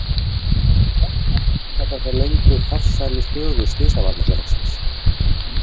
Hverju má þakka þessa löngu, farsælu sögu Slysavarnarfélagsins?